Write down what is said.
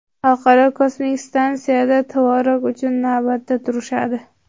Xalqaro kosmik stansiyada tvorog uchun navbatda turishadi.